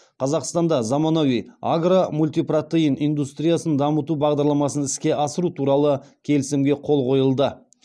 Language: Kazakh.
қазақстанда заманауи агро мультипротеин индустриясын дамыту бағдарламасын іске асыру туралы келісімге қол қойылды